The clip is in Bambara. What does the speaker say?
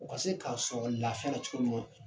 O ka se k'a sɔrɔ lafiya ra cogo minɔ